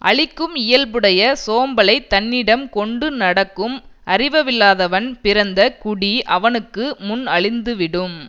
அழிக்கும் இயல்புடைய சோம்பலை தன்னிடம் கொண்டு நடக்கும் அறிவவில்லாதவன் பிறந்த குடி அவனுக்கு முன் அழிந்துவிடும்